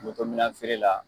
minan feere la.